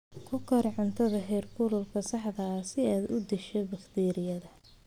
Ku kari cuntada heerkulka saxda ah si aad u disho bakteeriyada.